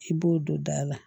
I b'o don da la